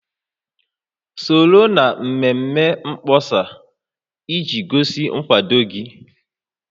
Soro na mmemme mkpọsa iji gosi nkwado gị